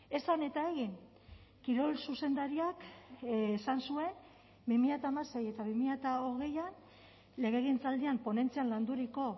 esan eta egin kirol zuzendariak esan zuen bi mila hamasei eta bi mila hogeian legegintzaldian ponentzian landuriko